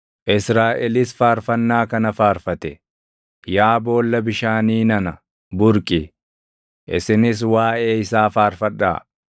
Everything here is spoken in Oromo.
Israaʼelis faarfannaa kana faarfate: “Yaa boolla bishaanii nana, burqi! Isinis waaʼee isaa faarfadhaa;